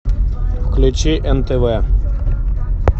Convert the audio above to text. включи нтв